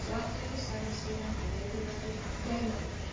Svarthöfði sagði síðan í niðurlagi greinarinnar: